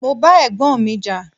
Mo bá Ẹ̀gbọ́n mi jà.